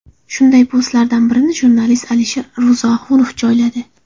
Shunday postlardan birini jurnalist Alisher Ro‘zioxunov joyladi.